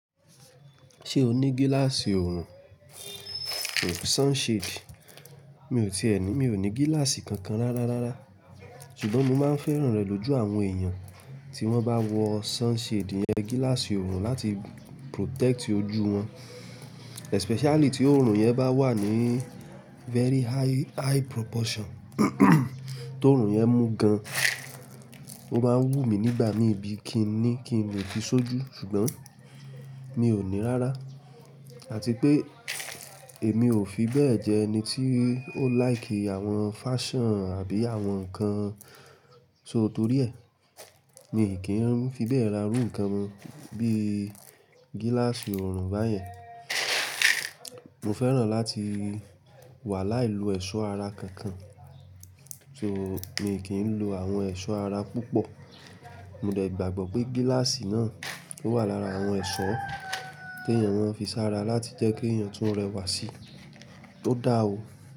Ṣé o ní gíláàsì òòrùn sunshade? Mi ò ti ẹ́ ni. Mi ò ní gíláàsì kankan rárá rárá. Ṣùgbọ́n mo máa ń fẹ́ràn rẹ̀ lójú àwọn èèyàn tí wọ́n bá wọ sunshade yẹn, gíláàsì òòrùn láti protect ojú wọn. Especially tí òòrùn yẹn bá wà ní very high, high proportion. Tó òòrùn yẹn mú gan, ó máa ń wú mi nígbà mí bí i kí ni kí n le fi sójú. Ṣùgbọ́n mi ò ní rárá. Àti pé èmi ò fi bẹ́ẹ̀ jẹ́ ẹni tí ó like àwọn fashion àbí àwọn nǹkan só torí ẹ̀. Mi kì í fi bẹ́ẹ̀ ra irú nǹkan bí i gíláàsì òòrùn báyẹn. Mo fẹ́ràn láti wà láìlo ẹ̀ṣọ́ ara kankan. So mi kì í lo àwọn ẹ̀ṣọ́ ara púpọ̀. Mo dẹ̀ gbàgbọ́ pé gíláàsì náà o wà lára àwọn ẹ̀ṣọ́ tí èèyàn máa ń fi sára láti jẹ́ kí èèyàn tuń rẹwà si, tó dáa o.